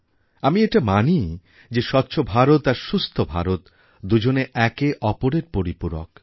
আমি এটা মানি যে স্বচ্ছ ভারত আর সুস্থ ভারত দুজনে একে অপরের পরিপূরক